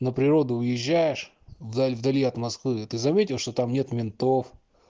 на природу уезжаешь вдаль вдали от москвы ты заметил что там нет ментов